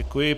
Děkuji.